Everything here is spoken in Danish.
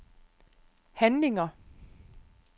handlinger